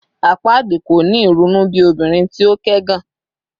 Apaadi ko ni irunu bi obinrin ti o kẹgàn